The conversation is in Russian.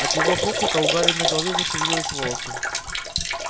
от его хохота у гарри на голове зашевелилось волосы